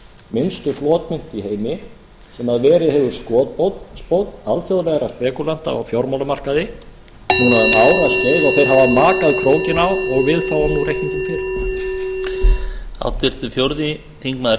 minnsta flotmynt í heimi sem hefur verið skotspónn alþjóðlegra spekúlanta á fjármálamarkaði núna um áraskeið og þeir hafa makað krókinn á og við fáum nú reikninginn hérna